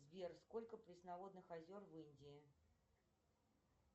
сбер сколько пресноводных озер в индии